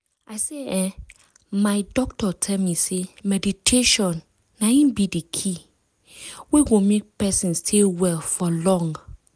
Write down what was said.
i say eeh my doctor tell me say meditation na in be de key ah! wey go make person stay well for long.